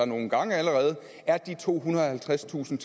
nogle gange er de tohundrede og halvtredstusind